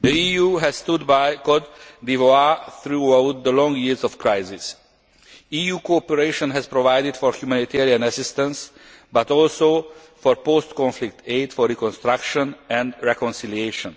The EU has stood by Côte d'Ivoire throughout the long years of crisis. EU cooperation has provided for humanitarian assistance but also for post conflict aid for reconstruction and reconciliation.